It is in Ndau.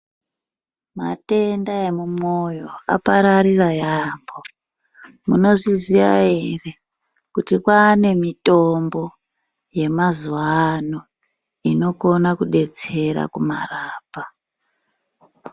Matenda emumwoyo apararira yaambo. Munozviziya ere kuti kwane mitombo yemazuwano inokona kudetsera kumarapa?